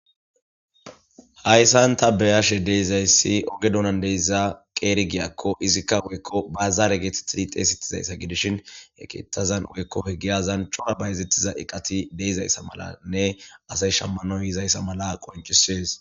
Hayssan ta beyashe deizayssi oge dunan deysza qeeri giyakko izikka woykko baazaare geethi tirixeesittizayssa gidishin he keetazan woykko he giyazan coa bayezettiza iqati deizayssa malanne asay shammanoy yizayssa mala qoncisees.